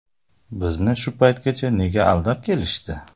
Bizni shu paytgacha nega aldab kelishdi?